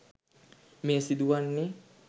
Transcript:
මෙය සිදුවන්නේ